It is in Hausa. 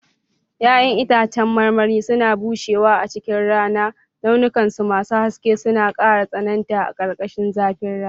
Ya'yan itãcen marmari suna bushewa a cikin rana, launukansu masu haske suna ƙara tsananta a ƙarƙashin zafin rana.